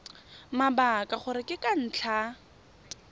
mabaka gore ke ka ntlha